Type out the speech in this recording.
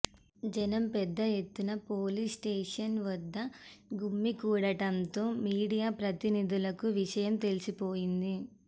జనం పెద్దఎత్తున police station వద్ద గుమికూడటంతో మీడియా ప్రతినిధులకు విషయం తెలిసిపోయింది